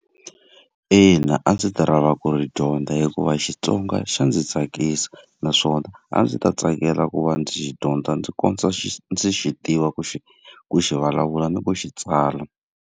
Ina, a ndzi ta lava ku ri dyondza hikuva Xitsonga xa ndzi tsakisa. Naswona a ndzi ta tsakela ku va ndzi xi dyondza ndzi kondza xi ndzi xi tiva ku xi ku xi vulavula ni ku xi tsala.